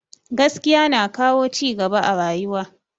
Gaskiya na kawo cigaba a rayuwa